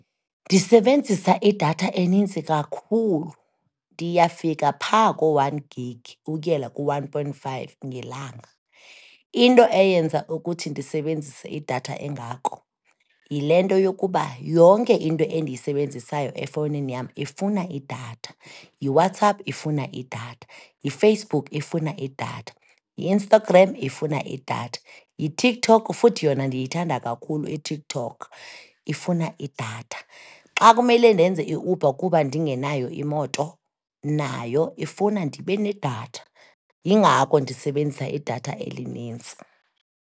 Ndisebenzisa idatha enintsi kakhulu, ndiyafika pha koo-one gig ukuyela ku-one point five ngelanga. Into eyenza ukuthi ndisebenzise idatha engako yile nto yokuba yonke into endiyisebenzisayo efowunini yam ifuna idatha. YiWhatsApp ifuna idatha, yiFacebook ifuna idatha, yi-Instagram ifuna idatha, yiTikTok, futhi yona ndiyithanda kakhulu iTikTok, ifuna idatha. Xa kumele ndenze iUber kuba ndingenayo imoto, nayo ifuna ndibe nedatha, yingako ndisebenzisa idatha elinintsi.